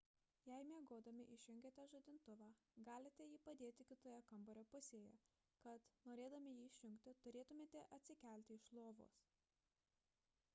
jei miegodami išjungiate žadintuvą galite jį padėti kitoje kambario pusėje kad norėdami jį išjungti turėtumėte atsikelti iš lovos